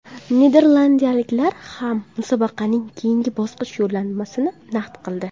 Niderlandiyaliklar ham musobaqaning keyingi bosqich yo‘llanmasini naqd qildi.